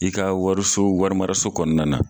I ka wariso wari maraso kɔnɔna na.